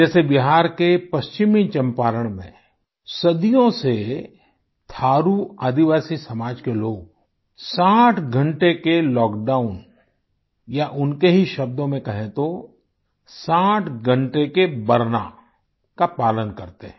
जैसे बिहार के पश्चिमी चंपारण में सदियों से थारु आदिवासी समाज के लोग 60 घंटे के लॉकडाउन या उनके ही शब्दों में कहें तो 60 घंटे के बरना का पालन करते हैं